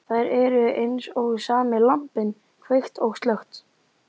Þær eru eins og sami lampinn, kveikt og slökkt.